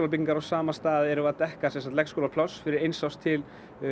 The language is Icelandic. byggingar á sama stað erum við að dekka leikskólapláss fyrir eins árs til